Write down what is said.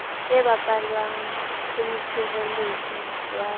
e bapalwang ke motshireletsi wa